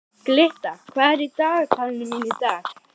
Glytta, hvað er í dagatalinu mínu í dag?